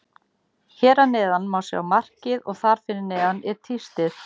Hér að neðan má sjá markið og þar fyrir neðan er tístið.